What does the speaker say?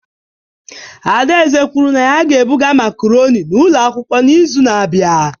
Adaeze kwuru na ya ga-ebuga macaroni n'ụlọ akwụkwọ n'izu na-abịa.